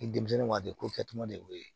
Ni denmisɛnnin waati ko kɛcogo de y'o ye